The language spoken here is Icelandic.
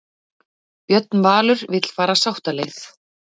Björn Valur vill fara sáttaleið